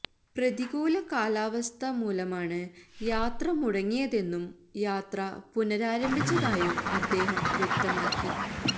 പ്രതികൂല കാലാവസ്ഥ മൂലമാണ് യാത്ര മുടങ്ങിയതെന്നും യാത്ര പുനരാരംഭിച്ചതായും അദ്ദേഹം വ്യക്തമാക്കി